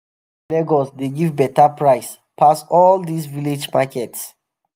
lagos dey give beta price pass all dis village markets.